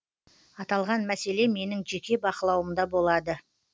аталған мәселе менің жеке бақылауымда болады